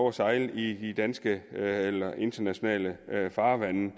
at sejle i danske eller internationale farvande